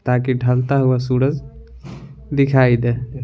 ताकि ढलता हुआ सूरज दिखाई दे--